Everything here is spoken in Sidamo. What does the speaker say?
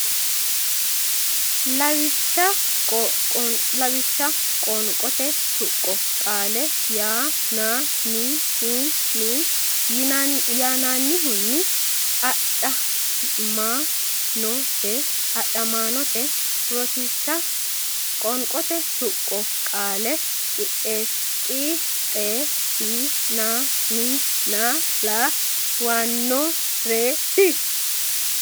Lawishsha Qoonqote Tuqqo Qaale yan nan ni hun ni yannannihunni a dha maa no te adhamaanote Rosiishsha Qoonqote Tuqqo Qaale qix xees si nan ni na la wan no ree ti.